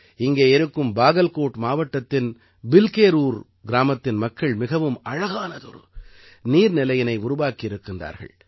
இங்கே இருக்கும் பாகல்கோட் மாவட்டத்தின் பில்கேரூர் கிராமத்தின் மக்கள் மிகவும் அழகானதொரு நீர்நிலையினை உருவாக்கி இருக்கின்றார்கள்